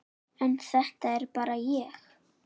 En þetta er bara ég.